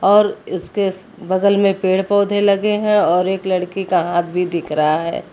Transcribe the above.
और इसके बगल में पेड़ पौधे लगे हैं और एक लड़की का हाथ भी दिख रहा है।